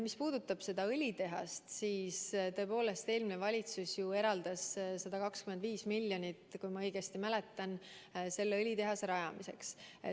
Mis puudutab seda õlitehast, siis tõepoolest eelmine valitsus eraldas 125 miljonit, kui ma õigesti mäletan, selle õlitehase rajamiseks.